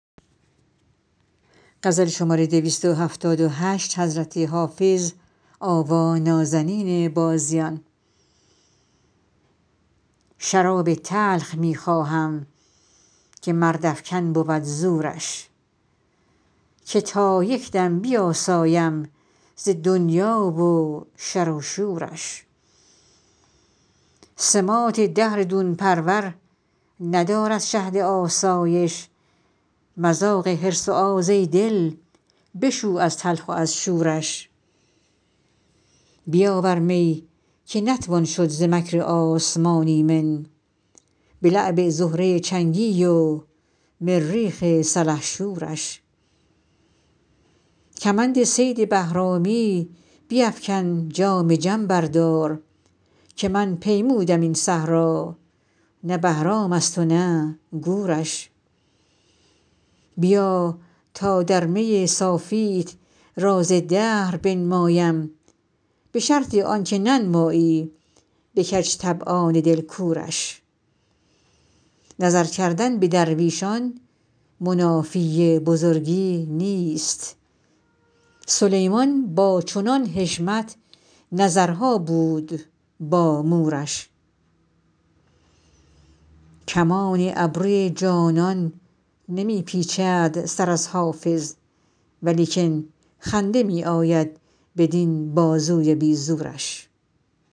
شراب تلخ می خواهم که مردافکن بود زورش که تا یک دم بیاسایم ز دنیا و شر و شورش سماط دهر دون پرور ندارد شهد آسایش مذاق حرص و آز ای دل بشو از تلخ و از شورش بیاور می که نتوان شد ز مکر آسمان ایمن به لعب زهره چنگی و مریخ سلحشورش کمند صید بهرامی بیفکن جام جم بردار که من پیمودم این صحرا نه بهرام است و نه گورش بیا تا در می صافیت راز دهر بنمایم به شرط آن که ننمایی به کج طبعان دل کورش نظر کردن به درویشان منافی بزرگی نیست سلیمان با چنان حشمت نظرها بود با مورش کمان ابروی جانان نمی پیچد سر از حافظ ولیکن خنده می آید بدین بازوی بی زورش